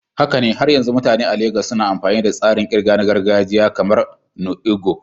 Haka ne, har yanzu mutane a Legas suna amfani da tsarin ƙirga na gargajiya kamar "nnu ego"?